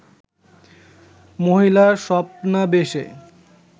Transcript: মহিলার স্বপ্নাবেশে